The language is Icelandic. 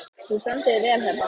Þú stendur þig vel, Heba!